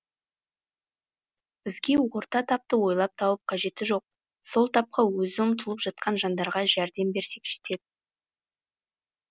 бізге орта тапты ойлап тауып қажеті жоқ сол тапқа өзі ұмтылып жатқан жандарға жәрдем берсек жетеді